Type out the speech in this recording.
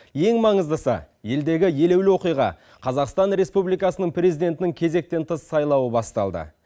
ең маңыздысы елдегі елеулі оқиға қазақстан республикасының президентінің кезектен тыс сайлауы басталды